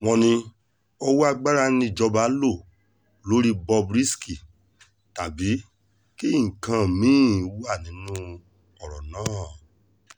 wọ́n ní owó agbára níjọba lọ lórí bob risky tàbí kí nǹkan mì-ín wà nínú ọ̀rọ̀ náà